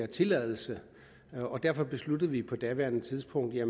tilladelsen derfor besluttede vi på daværende tidspunkt at